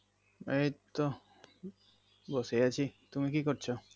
এই তো বসে আছি তুমি কি করছো